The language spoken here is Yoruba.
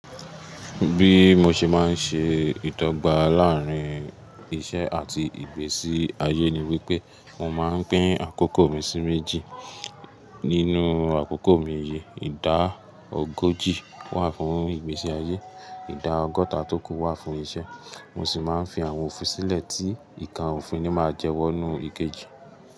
Bí mo ṣe má ń ṣe ìdọ́gba láàárín iṣẹ́ àti ìgbésí ayé ni wípé mo máa ń pín àkókò mi sí méjì. Nínú àkókò mi yìí, ìdáà ogójì wà fún ìgbésí ayé, ìdá ọgọ́taa tó kù wà fún iṣẹ́. Mo sì máa ń fi àwọn òfin sílẹ̀ tí ìkan òfin ni máa jẹwọ́ nínú ikeji.